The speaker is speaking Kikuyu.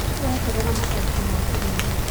Tũreeterera macokio ma kĩgerio